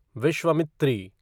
Vishwamitri